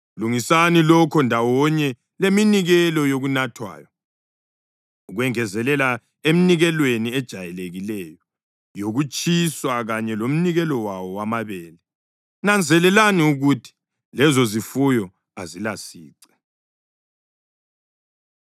Lungisani lokho ndawonye leminikelo yokunathwayo, ukwengezelela eminikelweni ejayelekileyo yokutshiswa kanye lomnikelo wawo wamabele. Nanzelelani ukuthi lezozifuyo azilasici.’ ”